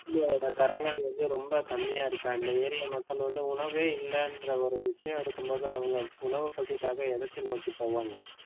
கரங்கள் வந்து ரொம்ப கம்மியா இருக்காங்க ஏரியன் மக்கள் வந்து உணவே இல்லன்ற ஒரு விஷயம் இருக்கும் பொது அவங்க உணவு பசிக்காக எதிர்த்து நோக்கி போவாங்க.